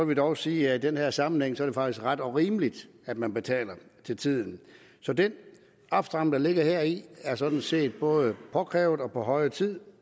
jeg dog sige at i den her sammenhæng er det faktisk ret og rimeligt at man betaler til tiden så den opstramning der ligger heri er sådan set både påkrævet og på høje tid